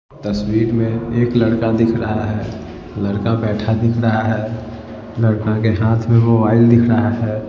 तस्वीर में एक लड़का दिख रहा है लड़का बैठा दिख रहा है लड़का के हाथ में मोबाइल दिख रहा है।